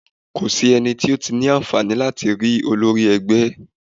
Kò sí ẹnì tí ó ní àǹfààní láti rí olórí ẹgbẹ́.